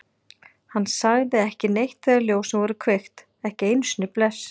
Hann sagði ekki neitt þegar ljósin voru kveikt, ekki einu sinni bless.